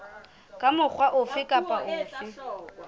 ka mokgwa ofe kapa ofe